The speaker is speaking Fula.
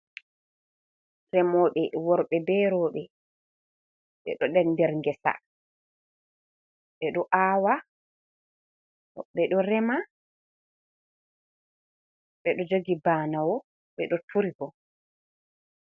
Remoɓe worɓe be rowɓe ɓeɗo den der geesa ɓe ɗo awa, woɓɓe ɗo rema, ɓeɗo joogi banawo, ɓeɗo turi bo.